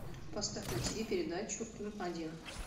поставь на тиви передачу м один